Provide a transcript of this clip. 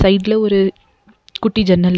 சைடுல ஒரு குட்டி ஜன்னல் இருக்--